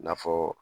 I n'a fɔ